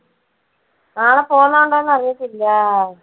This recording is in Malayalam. നാളെ പോന്നുണ്ടോന്ന് അറിയത്തില്ല.